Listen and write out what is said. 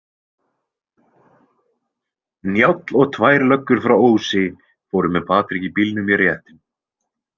Njáll og tvær löggur frá Ósi fóru með Patrik í bílnum í réttinn.